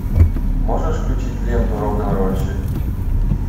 можешь включить ленту рок н рольщик